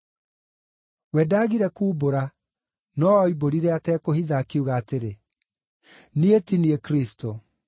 We ndaagire kuumbũra, no oimbũrire atekũhitha, akiuga atĩrĩ, “Niĩ ti niĩ Kristũ.”